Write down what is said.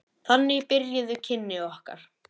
Þannig byrjuðu kynni okkar.